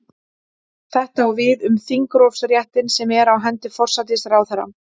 Þetta á við um þingrofsréttinn sem er á hendi forsætisráðherra.